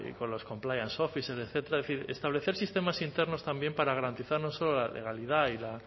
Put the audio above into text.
con los compliance officer etcétera es decir establecer sistemas internos también para garantizar no solo la legalidad